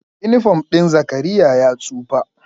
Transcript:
Inifom ɗin Zakariyya ya tsufa